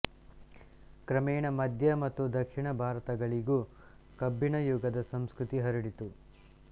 ಕ್ರಮೇಣ ಮಧ್ಯ ಮತ್ತು ದಕ್ಷಿಣ ಭಾರತಗಳಿಗೂ ಕಬ್ಬಿಣಯುಗದ ಸಂಸ್ಕೃತಿ ಹರಡಿತು